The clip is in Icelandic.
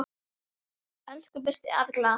Elsku besti afi Glað.